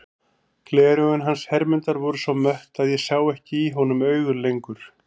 Gleraugun hans Hermundar voru svo mött að ég sá ekki í honum augun lengur.